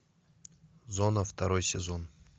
зона второй сезон